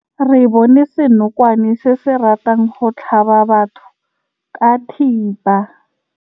Re bone senokwane se se ratang go tlhaba batho ka thipa.